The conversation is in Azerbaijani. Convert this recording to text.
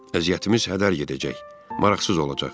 Əziyyətimiz hədər gedəcək, maraqsız olacaq.